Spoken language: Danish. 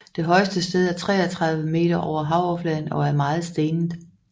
Det højeste sted er 33 meter over havoverfladen og er meget stenet